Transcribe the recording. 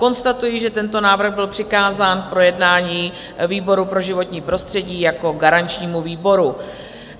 Konstatuji, že tento návrh byl přikázán k projednání výboru pro životní prostředí jako garančnímu výboru.